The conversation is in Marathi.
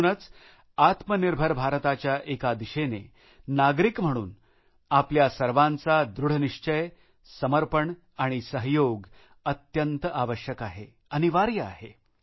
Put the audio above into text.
म्हणूनच आत्मनिर्भर भारताच्या एका दिशेने एक नागरिक म्हणून आपल्या सर्वांचा दृशनिश्चय समर्पण आणि सहयोग अत्यंत आवश्यक आहे अनिवार्य आहे